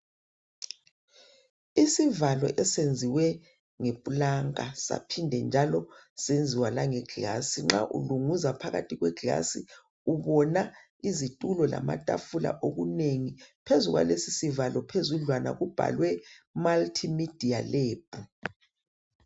Isivalo esenziwe ngeplanka njalo senziwa langeglass nxa ulunguza phakathi phakathi kweglass ubona izitulo lamatafula okunengi phezu kwalesi isivalo kubhalwe multi media lab